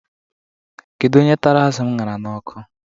Kedu onye tara azu m ṅara n'ọkụ?